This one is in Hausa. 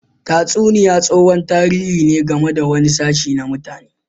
Tatsuniya tsohon tarihi ne game da wani sashe na mutane.